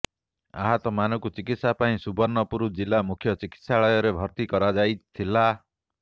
ଆହତମାନଙ୍କୁ ଚିକିତ୍ସା ପାଇଁ ସୁବର୍ଣ୍ଣପୁର ଜିଲ୍ଲା ମୁଖ୍ୟ ଚିକିତ୍ସାଳୟରେ ଭର୍ତ୍ତି କରାଯାଇ ଥିଲା